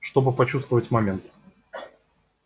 чтобы прочувствовать момент